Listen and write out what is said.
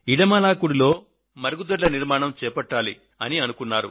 ఇడమాలాకుడిలో మరుగుదొడ్ల నిర్మాణం చేపట్టాలి అని అనుకున్నారు